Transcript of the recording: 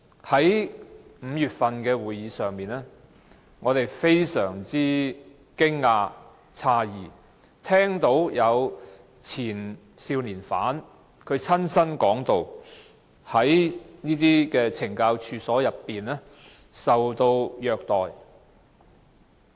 在5月份的會議上，我們非常驚訝、詫異，聽到前少年犯親身說在懲教所內受到虐待。